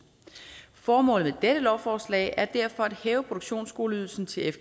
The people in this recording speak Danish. formålet med dette lovforslag er derfor at hæve produktionsskoleydelsen til